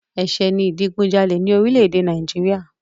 Ẹ̀ṣẹ̀ ni ìdìgunjalè ní orílẹ̀-èdè Nàìjíríà.